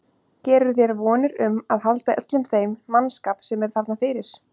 Gerirðu þér vonir um að halda öllum þeim mannskap sem er þarna fyrir?